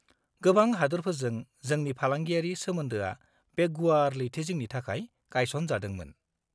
-गोबां हादोरफोरजों जोंनि फालांगियारि सोमोन्दोआ बे गुवार लैथोजिंनि थाखाय गायसन जादोंमोन।